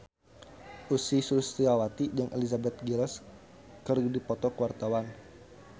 Ussy Sulistyawati jeung Elizabeth Gillies keur dipoto ku wartawan